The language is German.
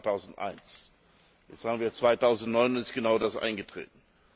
Das war 2001. Jetzt haben wir 2009, und es ist genau das eingetreten.